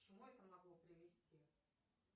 к чему это могло привести